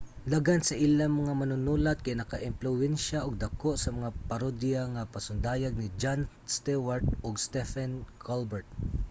daghan sa ilang mga manunulat kay nakaempluwensiya og dako sa mga parodiya nga pasundayag ni jon stewart ug stephen colbert